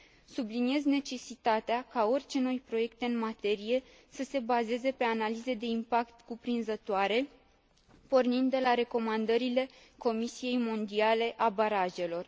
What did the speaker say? Subliniez necesitatea ca orice noi proiecte în materie să se bazeze pe analize de impact cuprinzătoare, pornind de la recomandările Comisiei mondiale a barajelor.